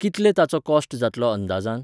कितले ताचो कॉस्ट जातलो अंदाजान?